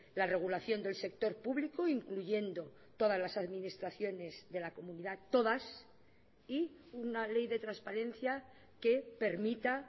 la regulación del sector público incluyendo todas las administraciones de la comunidad todas y una ley de transparencia que permita